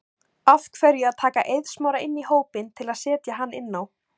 Af hverju að taka Eið Smára inn í hópinn til að setja hann inn á?